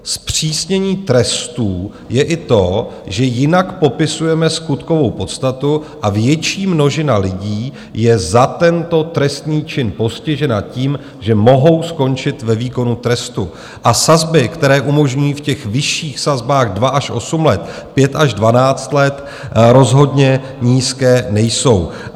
Zpřísnění trestů je i to, že jinak popisujeme skutkovou podstatu, a větší množina lidí je za tento trestný čin postižena tím, že mohou skončit ve výkonu trestu, a sazby, které umožňují v těch vyšších sazbách 2 až 8 let, 5 až 12 let, rozhodně nízké nejsou.